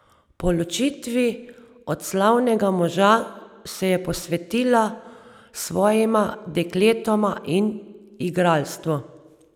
Po ločitvi od slavnega moža se je posvetila svojima dekletoma in igralstvu.